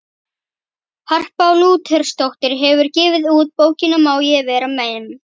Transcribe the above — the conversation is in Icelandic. Harpa Lúthersdóttir hefur gefið út bókina Má ég vera memm?